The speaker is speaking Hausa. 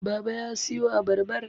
baba ya siyo abarbar